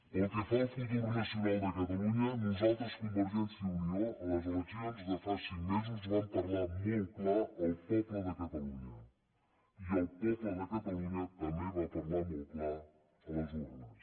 pel que fa al futur nacional de catalunya nosaltres convergència i unió a les eleccions de fa cinc mesos vam parlar molt clar al poble de catalunya i el poble de catalunya també va parlar molt clar a les urnes